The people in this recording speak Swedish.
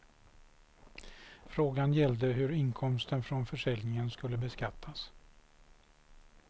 Frågan gällde hur inkomsten från försäljningen skulle beskattas.